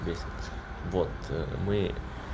бесит вот мы